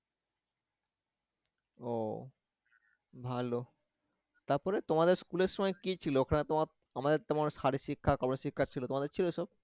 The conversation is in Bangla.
ও ভালো, তারপরে তোমাদের school এর সময় কি ছিল? ওখানে তোমার আমাদের তোমার শারীরিক-শিক্ষা গন-শিক্ষার ছিল, তোমাদের ছিল এইসব?